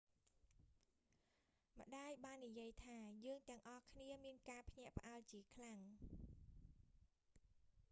"ម្តាយបាននិយាយថា យើងទាំងអស់គ្នាមានការភ្ញាក់ផ្អើលជាខ្លាំង។